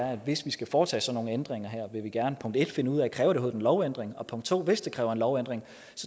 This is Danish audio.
at hvis der skal foretages sådan nogle ændringer vil vi gerne punkt 1 finde ud af kræver en lovændring og punkt 2 hvis det kræver en lovændring